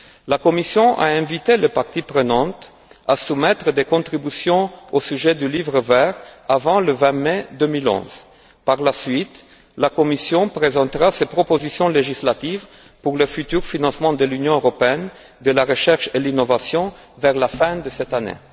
La Commission a invité les parties prenantes à soumettre des contributions au sujet du Livre vert avant le 20 mai 2011. Par la suite, la Commission présentera ses propositions législatives pour le futur financement de l'Union européenne de la recherche et l'innovation vers la fin de cette année.